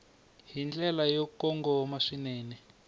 hi ndlela yo kongoma swinene